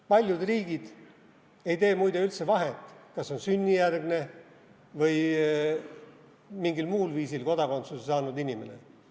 Paljud riigid ei tee, muide, üldse vahet, kas on sünnijärgne või mingil muul viisil kodakondsuse saanud inimene.